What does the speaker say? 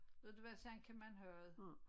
Ved du hvad sådan kan man have det